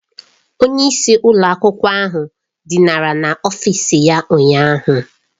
Onye isi ụlọ akwụkwọ ahụ dinara n'ọfịs ya ụnyahụ.